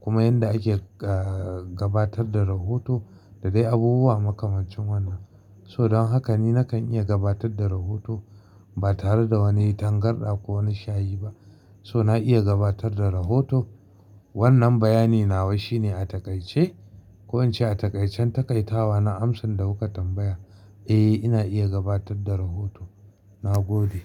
kuma yadda ake gabatar da rahoto da dai abubuwa makamancin wannan. So don haka ni nakan iya gabatar da rahoto ba tare da wani tangarɗa ko wani shayi ba. So na iya gabatar da rahoto. Wannan bayani nawa shi ne a taƙaice? Ko an ce a taƙaicen taƙaitawa na amsan da kuka tambaya. Eh, ina iya gabatar da rahoto. Na gode.